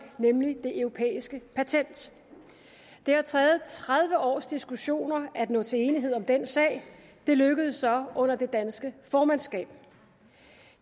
nemlig det europæiske patent det har taget tredive års diskussioner at nå til enighed om den sag og det lykkedes så under det danske formandsskab